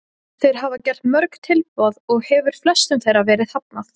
Þeir hafa gert mörg tilboð og hefur flestum þeirra verið hafnað.